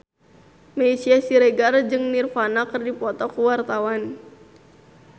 Meisya Siregar jeung Nirvana keur dipoto ku wartawan